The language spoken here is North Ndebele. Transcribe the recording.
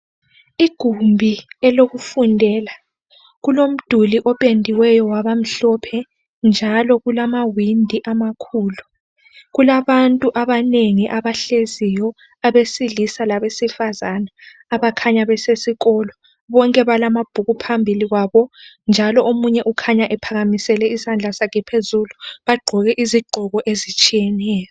Igumbi elokufundela kulomduli opendiweyo wabamhlophe njalo kulamawindi amakhulu. Kulabantu abanengi abahleziyo abesilisa labesifazana abakhanya besesikolo bonke balamabhuku phambili kwabo. Njalo omunye ukhanya ephakamisele isandla sakhe phezulu bagqoke izigqoko ezitshiyeneyo.